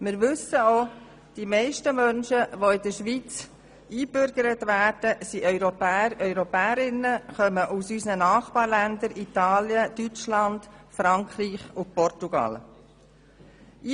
Wir wissen auch, dass die meisten Menschen, die in der Schweiz eingebürgert werden, Europäer und Europäerinnen sind und aus unseren Nachbarländern Italien, Deutschland, Frankreich und Portugal stammen.